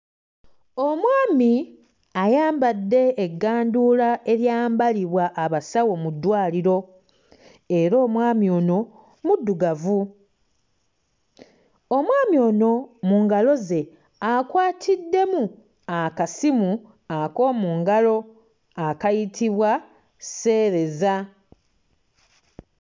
Omwani ayambadde egganduula eryambalibwa abasawo mu ddwaliro era omwami ono muddugavu. Omwami ono mu ngalo ze akwatiddemu akasimu ak'omu ngalo akayitibwa sseereza.